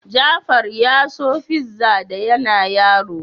Jafar ya so fiza da yana yaro.